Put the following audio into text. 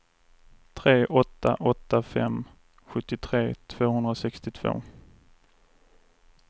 tre åtta åtta fem sjuttiotre tvåhundrasextiotvå